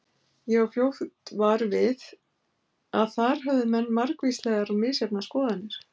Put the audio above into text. Ég varð fljótt var við að þar höfðu menn margvíslegar og misjafnar skoðanir.